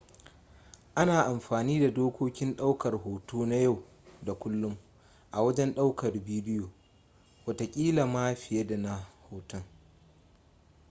ana amfani da dokokin daukar hoto na yau da kullum a wajen daukar bidiyo watakila ma fiye da na hoton